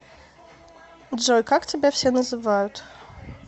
джой как тебя все называют